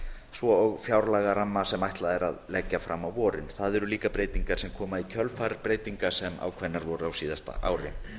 svo og fjárlagaramma sem ætlunin er að leggja fram á vorin það eru líka breytingar sem koma í kjölfar breytinga sem ákveðnar voru á síðasta ári